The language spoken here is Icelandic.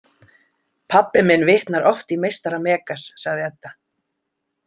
Pabbi minn vitnar oft í meistara Megas, sagði Edda.